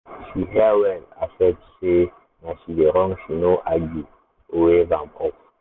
she hear well accept sey na she dey wrong she no argue or wave am off.